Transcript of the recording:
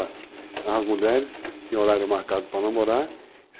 As mulheres tinham horário marcado para namorar.